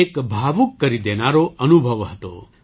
આ એક ભાવુક કરી દેનારો અનુભવ હતો